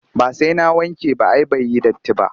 Ba sai na wanke ba ai bai yi datti ba